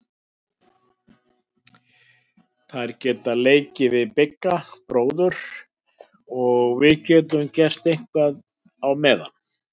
Þær geta leikið við Bigga bróður og við getum gert eitthvað á meðan.